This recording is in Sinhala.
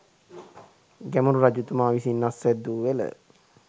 ගැමුණු රජතුමා විසින් අස්වැද්ද වූ වෙල